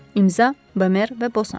İmza: Bömer və Bosanj.